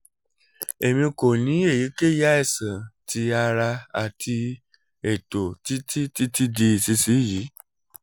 emi ko ni eyikeyi aisan ti ara ati eto titi titi di isisiyi